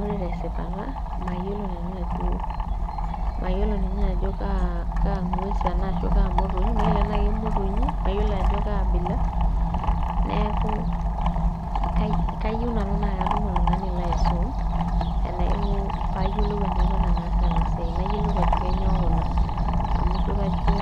Ore tesipata mayiolo nanu ajo mayioo ninye ajo kaa kang'ues ena ashua kaa motonyi mayiolo enaa kemotonyi mayiolo ajo kaabila neeku kayieu nanu naa katum oltung'ani laisum enaiko payiolou enaiko tenaas ena siai nayiolou ajo kenyoo kuna amu ijio kajo